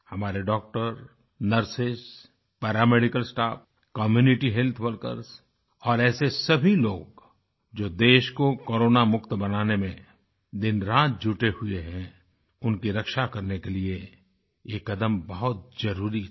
हमारे doctor nurses paramedical staff community health workers और ऐसे सभी लोग जो देश को कोरोनामुक्त बनाने में दिनरात जुटे हुए हैंउनकी रक्षा करने के लिए ये कदम बहुत ज़रुरी था